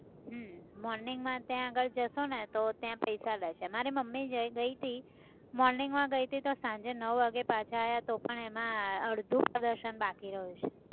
હમ morning માં ત્યાં આગળ જઈશુંને તો ત્યાં પૈસા લે છે. મારી મમ્મી ગઈ હતી morning માં ગઈ હતી તો સાંજે નવ વાગે પાછા આવ્યા તો પણ એમાં અડધું પ્રદર્શન બાકી રહ્યું છે.